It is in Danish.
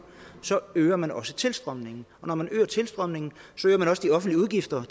øger man også tilstrømningen og når man øger tilstrømningen øger man også de offentlige udgifter